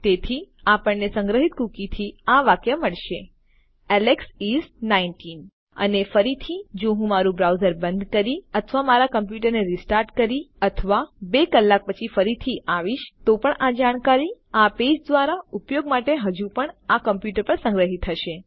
તેથી આપણને સંગ્રહિત કુકીથી આ વાક્ય મળશે એલેક્સ ઇસ 19 અને ફરીથી જો હું મારું બ્રાઉઝર બંધ કરી અથવા મારા કમ્પ્યુટરને રીસ્ટાર્ટ કરી અથવા બે કલાક પછી ફરી આવીશ તો પણ આ જાણકારી આ પેજ દ્વારા ઉપયોગ માટે હજુ પણ આ કમ્પ્યુટર પર સંગ્રહિત હશે